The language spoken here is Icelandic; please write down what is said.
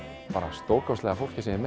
stórkostlega fólki sem ég